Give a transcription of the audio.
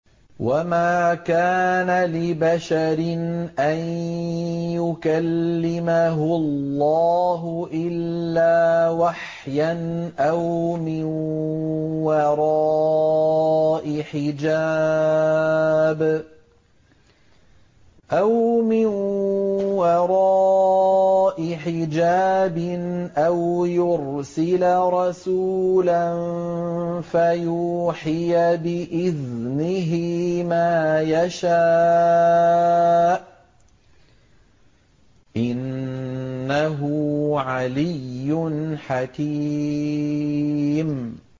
۞ وَمَا كَانَ لِبَشَرٍ أَن يُكَلِّمَهُ اللَّهُ إِلَّا وَحْيًا أَوْ مِن وَرَاءِ حِجَابٍ أَوْ يُرْسِلَ رَسُولًا فَيُوحِيَ بِإِذْنِهِ مَا يَشَاءُ ۚ إِنَّهُ عَلِيٌّ حَكِيمٌ